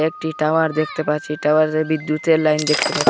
একটি টাওয়ার দেখতে পাচ্ছি টাওয়ারে বিদ্যুতের লাইন দেখতে পা--